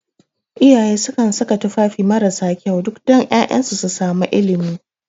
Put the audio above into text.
Iyaye sukan saka tufafi marasa kyau duk da ƴaƴansu su sami ilimi